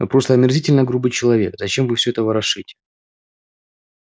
вы просто омерзительно грубый человек зачем вы всё это ворошите